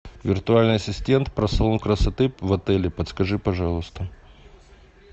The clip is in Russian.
виртуальный ассистент про салон красоты в отеле подскажи пожалуйста